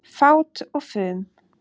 Fát og fum